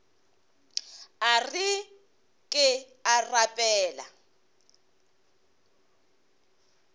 a re ke a rapela